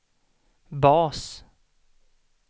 bas